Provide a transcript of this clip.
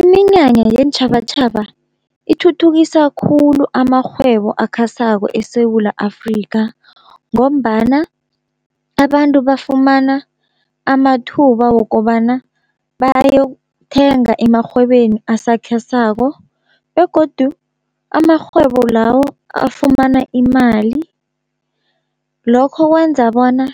Iminyanya yeentjhabatjhaba ithuthukisa khulu amarhwebo akhasako eSewula Afrika, ngombana abantu bafumana amathuba wokobana bayokuthenga emarhwebeni asakhesako, begodu amarhwebo lawo afumana imali lokho kwenza bona